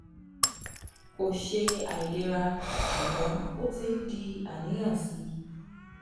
kò ṣe àìlera ṣùgbọ́n ó ti ń di àníyàn sí i